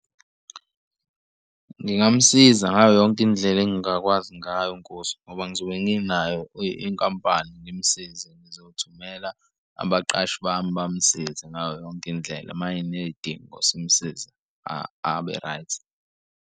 Ngingamusiza ngayo yonke indlela engingakwazi ngayo nkosi ngoba ngizobe nginayo inkampani ngimusize, ngizothumela abaqashi bami bamsize ngayo yonke indlela uma eney'dingo simsiza abe-right.